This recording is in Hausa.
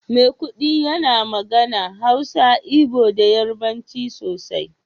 maikudi yana magana, Hausa, Igbo da Yarbanci sosai